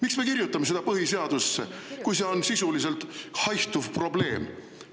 Miks me kirjutame selle põhiseadusse, kui see on sisuliselt haihtuv probleem?